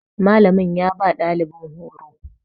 Malamin ya ba dalibin horo